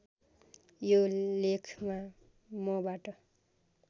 यो लेखमा मबाट